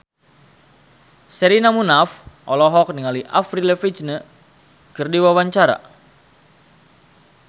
Sherina Munaf olohok ningali Avril Lavigne keur diwawancara